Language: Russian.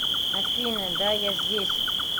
афина да я здесь